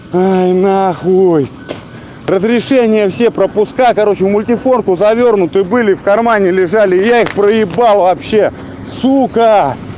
ай нахуй разрешения все пропуска короче мультифору завёрнутые были в кармане лежали их проебал вообще сука